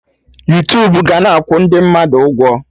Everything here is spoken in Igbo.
Yuutubu ga-na akwụ ndị mmadụ ụgwọ